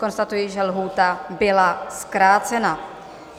Konstatuji, že lhůta byla zkrácena.